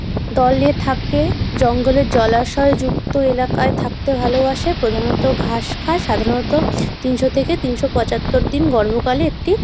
দলে থাকে জঙ্গলে জলাশয়ে যুক্ত এলাকায় থাকতে ভালোবাসে। প্রধানত ঘাস খায় সাধারণত তিনশো থেকে তিনশো পঁচাত্তর দিন গর্ভকালে একটি--